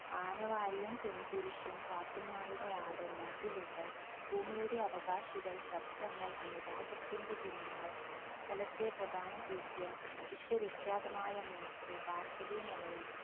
ആനവാരിയും പൊൻകുരിശും, പാത്തുമ്മയുടെ ആട്, മതിലുകൾ, ഭൂമിയുടെ അവകാശികൾ, ശബ്ദങ്ങൾ, അനുരാഗത്തിന്റെ ദിനങ്ങൾ, സ്ഥലത്തെ പ്രധാന ദിവ്യൻ, വിശ്വവിക്യതമായ മൂക്ക്, ഭാർഗ്ഗവീ നിലയം